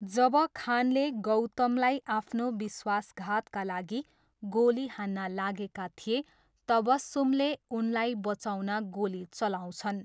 जब खानले गौतमलाई आफ्नो विश्वासघातका लागि गोली हान्न लागेका थिए, तबस्सुमले उनलाई बचाउन गोली चलाउँछन्।